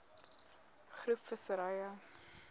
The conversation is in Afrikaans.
groep visserye